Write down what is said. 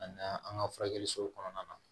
A na an ka furakɛli so kɔnɔna na